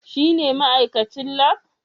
Shine ma'aikacin Lab?